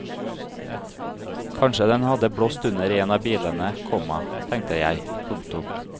Kanskje den hadde blåst under en av bilene, komma tenkte jeg. punktum